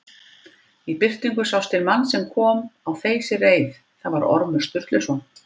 Í birtingu sást til manns sem kom á þeysireið, það var Ormur Sturluson.